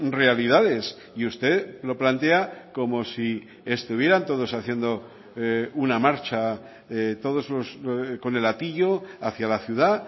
realidades y usted lo plantea como si estuvieran todos haciendo una marcha todos con el hatillo hacia la ciudad